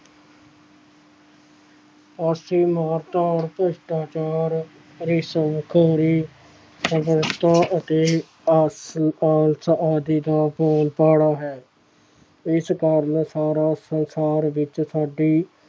ਭ੍ਰਿਸ਼ਟਾਚਾਰ ਅਤੇ ਆਦਿ ਦਾ ਬੋਲਬਾਲਾ ਹੈ ਇਸ ਕਾਰਨ ਸਾਰਾ ਸੰਸਾਰ ਵਿੱਚ ਸਾਡੀ